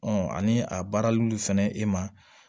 ani a baarallu fɛnɛ e ma